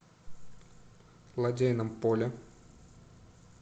лодейном поле